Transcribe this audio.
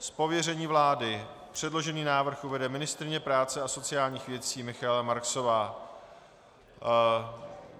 Z pověření vlády předložený návrh uvede ministryně práce a sociálních věcí Michaela Marksová.